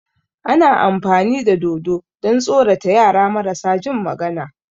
Ana amfani da dodo don tsorata yara marasa jin magana